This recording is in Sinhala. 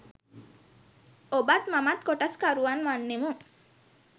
ඔබත් මමත් කොටස්කරුවන් වන්නෙමු